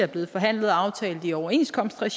blevet forhandlet og aftalt i overenskomstregi